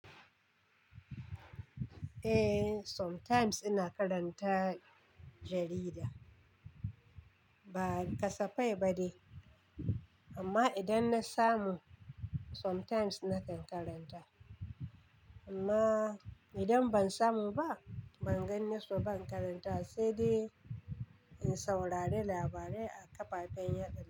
Eh, sometimes ina karanta jarida. Ba kasafai ba de, amma idan na samu sometimes nakan karanta. Amma idan ban samu ba, ban ganni su ba, ban karanta wa, sai dai in saurari labarai a kafafen yada.